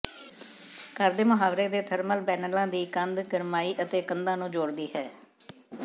ਘਰ ਦੇ ਮੁਹਾਵਰੇ ਦੇ ਥਰਮਲ ਪੈਨਲਾਂ ਦੀ ਕੰਧ ਗਰਮਾਈ ਅਤੇ ਕੰਧਾਂ ਨੂੰ ਜੋੜਦੀ ਹੈ